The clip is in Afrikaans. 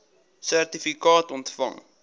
sertifikaat ontvang